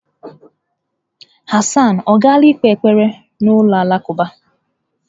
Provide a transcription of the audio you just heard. Hassan ọ gaala ikpe ekpere n'ụlọ alakụba?